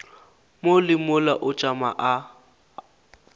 mo le mola o tšama